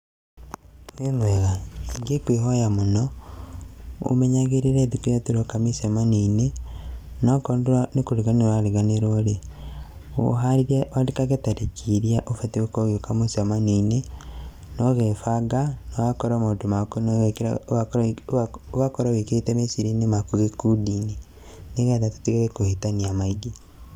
Wĩmwega, nĩnguĩhoya mũno ũmenyagĩrĩre thikũ iria tũroka mĩcemanio-inĩ, no okorwo nĩkũriganĩrwo ũrariganĩrwo rĩ, wandĩkage tarĩki iria ubatiĩ gũkorwo ũgiũka mũcemanio-inĩ, na ũgebanga ũgakorwo maũndu maku nĩwĩkire ũgakorwo wĩkĩrĩte meciria-inĩ maku gĩkundi-inĩ nĩgetha tũtigage kũhĩtania maingĩ.